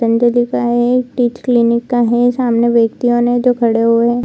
पतंजलि का है teeth clinic का है सामने व्यक्तियों ने जो खड़े हुए हैं --